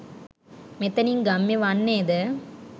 මෙතැනින් ගම්‍ය වන්නේ ද